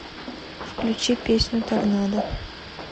включи песню торнадо